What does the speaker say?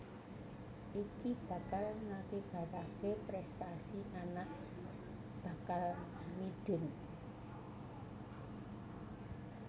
Iki bakal ngakibataké préstasi anak bakal midun